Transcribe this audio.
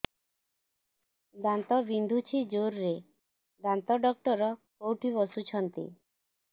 ଦାନ୍ତ ବିନ୍ଧୁଛି ଜୋରରେ ଦାନ୍ତ ଡକ୍ଟର କୋଉଠି ବସୁଛନ୍ତି